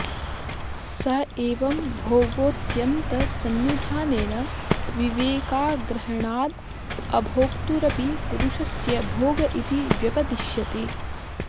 स एवं भोगोऽत्यन्तसन्निधानेन विवेकाग्रहणादभोक्तुरपि पुरुषस्य भोग इति व्यपदिष्यते